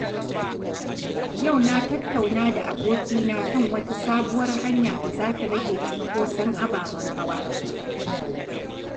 Yau na tattauna da abokina kan wata sabuwar hanya da za ta rage cunkoson ababen hawa.